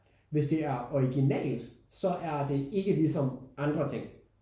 Hvis det er originalt så er det ikke lige som andre ting